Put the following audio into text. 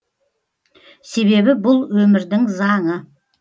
себебі бұл өмірдің заңы